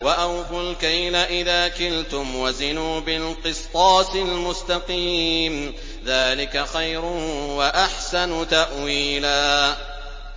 وَأَوْفُوا الْكَيْلَ إِذَا كِلْتُمْ وَزِنُوا بِالْقِسْطَاسِ الْمُسْتَقِيمِ ۚ ذَٰلِكَ خَيْرٌ وَأَحْسَنُ تَأْوِيلًا